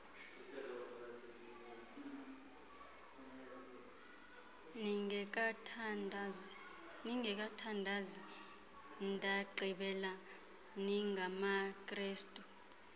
ningekathandazi ndagqibela ningamakrestu